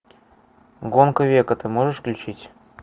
гонка века ты можешь включить